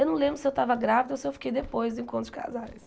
Eu não lembro se eu estava grávida ou se eu fiquei depois do encontro de casais.